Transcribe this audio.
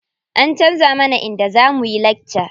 An canza mana inda za muyi lakca.